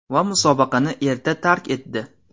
Va musobaqani erta tark etdi.